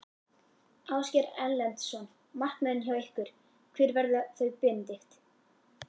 Ásgeir Erlendsson: Markmiðin hjá ykkur, hver verða þau Benedikt?